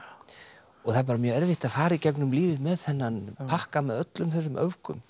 og það er bara mjög erfitt að fara í gegnum lífið með þennan pakka með öllum þessum öfgum